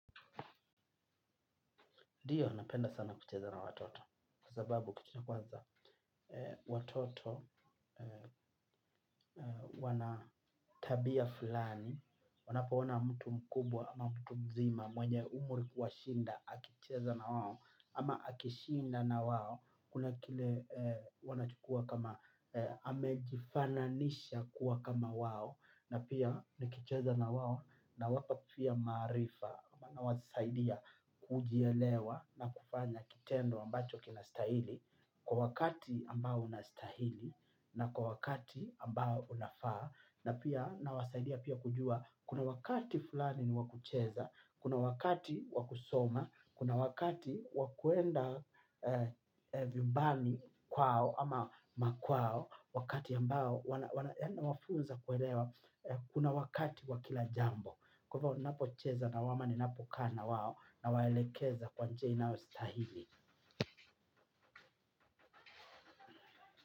Ndiyo, napenda sana kucheza na watoto, kwa sababu kitu cha kwanza watoto wana tabia fulani, wanapona mtu mkubwa ama mtu mzima mwenye umri kuwashinda, akicheza na wao, ama akishinda na wao, kuna kile wanachukua kama, amejifananisha kuwa kama wao, na pia nikicheza na wao nawapa pia maarifa nawasaidia kujielewa na kufanya kitendo ambacho kinastahili kwa wakati ambao unastahili na kwa wakati ambao unafaa na pia nawasaidia pia kujua kuna wakati fulani ni wa kucheza, kuna wakati wa kusoma, kuna wakati wa kuenda vyumbani kwao ama makwao. Wakati ambao wana yaani nawafunza kuelewa kuna wakati wa kila jambo. Kwa hivo napocheza nao ama ninapo kaa na wao nawaelekeza kwa njia inayostahili.